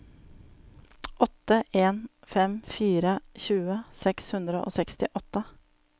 åtte en fem fire tjue seks hundre og sekstiåtte